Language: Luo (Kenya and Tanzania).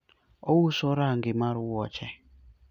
ouso range mar wuoche